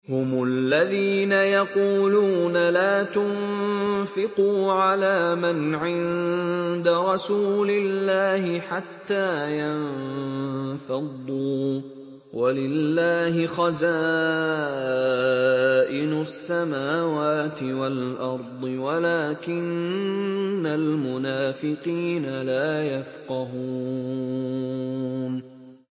هُمُ الَّذِينَ يَقُولُونَ لَا تُنفِقُوا عَلَىٰ مَنْ عِندَ رَسُولِ اللَّهِ حَتَّىٰ يَنفَضُّوا ۗ وَلِلَّهِ خَزَائِنُ السَّمَاوَاتِ وَالْأَرْضِ وَلَٰكِنَّ الْمُنَافِقِينَ لَا يَفْقَهُونَ